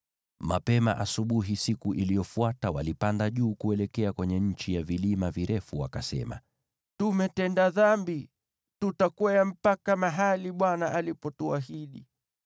Mapema asubuhi siku iliyofuata walipanda juu kuelekea kwenye nchi ya vilima virefu, wakasema, “Tumetenda dhambi. Tutakwea mpaka mahali Bwana alipotuahidi.”